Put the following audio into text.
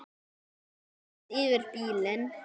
Hann gengur beint fyrir bílinn.